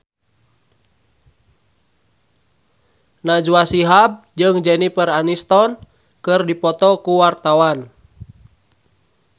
Najwa Shihab jeung Jennifer Aniston keur dipoto ku wartawan